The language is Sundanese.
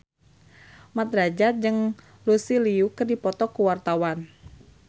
Mat Drajat jeung Lucy Liu keur dipoto ku wartawan